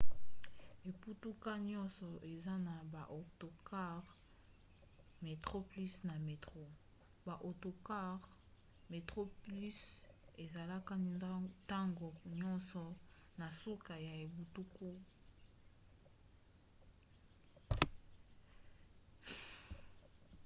engbunduka nyonso eza na baautocars metroplus na metro; baautocars metroplus ezalaka ntango nyonso na suka ya engbunduka oyo eza pene na cap town